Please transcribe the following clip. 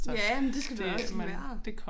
Ja men det skal du da også være